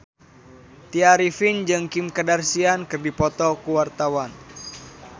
Tya Arifin jeung Kim Kardashian keur dipoto ku wartawan